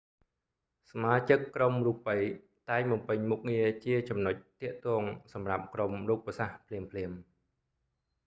សមាជិកក្រុមរូបី តែងបំពេញមុខងារជាចំណុចទាក់ទងសម្រាប់ក្រុមរូបសាស្រ្តភ្លាមៗ